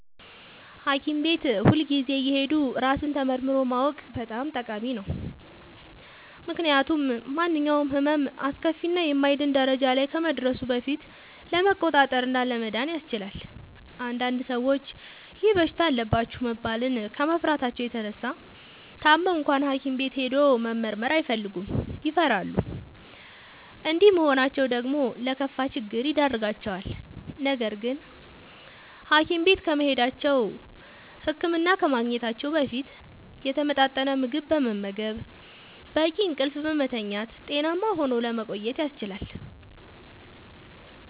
ሀኪም ቤት ሁልጊዜ እየሄዱ ራስን ተመርምሮ ማወቅ በጣም ጠቃሚ ነው። ምክንያቱም ማንኛውም ህመም አስከፊ እና የማይድን ደረጃ ላይ ከመድረሱ በፊት ለመቆጣጠር እና ለመዳን ያስችላል። አንዳንድ ሰዎች ይህ በሽታ አለባችሁ መባልን ከመፍራታቸው የተነሳ ታመው እንኳን ሀኪም ቤት ሄዶ መመርመር አይፈልጉም ይፈራሉ። እንዲህ መሆናቸው ደግሞ ለከፋ ችግር ይዳርጋቸዋል። ነገርግን ሀኪም ቤት ከመሄዳቸው(ህክምና ከማግኘታቸው) በፊት የተመጣጠነ ምግብ በመመገብ፣ በቂ እንቅልፍ በመተኛት ጤናማ ሆኖ ለመቆየት ያስችላል።